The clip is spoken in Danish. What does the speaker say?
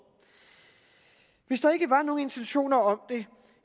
hvis der ikke var nogen intentioner om det